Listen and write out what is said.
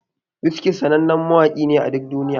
Wizkid sannanen mawaki ne a duk duniya.